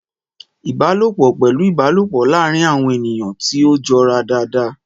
Ìbálòpọ̀ pẹ̀lú ìbálòpọ̀ láàárín àwọn ènìyàn tí ó jọra dáadáa.